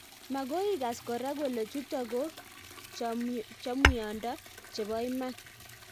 Magoi igaas koraa kole chutok ko chamwiondo cheba imaan